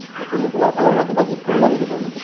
তে তুমি তোমাৰ ফালৰ পৰা কিবা gift কৰিবা নেকি তেওঁলোকক ?